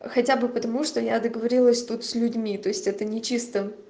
хотя бы потому что я договорилась тут с людьми то есть это не чисто